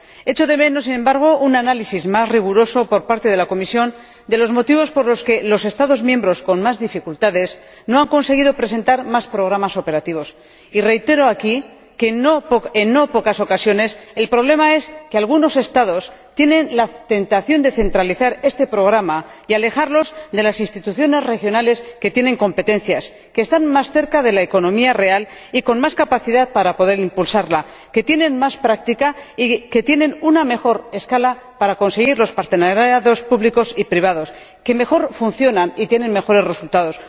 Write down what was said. Echo de menos, sin embargo, un análisis más riguroso por parte de la Comisión de los motivos por los que los Estados miembros con más dificultades no han conseguido presentar más programas operativos, y reitero aquí que, en no pocas ocasiones, el problema es que algunos Estados tienen la tentación de centralizar estos programas y alejarlos de las instituciones regionales que tienen competencias, que están más cerca de la economía real y tienen más capacidad para poder impulsarla, que tienen más práctica y que tienen una mejor escala para conseguir los partenariados públicos y privados, que mejor funcionan y tienen mejores resultados.